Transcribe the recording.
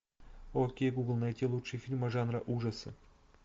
окей гугл найти лучшие фильмы жанра ужасы